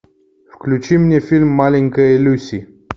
включи мне фильм маленькая люси